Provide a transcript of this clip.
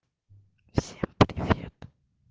всем привет